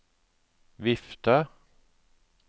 vifte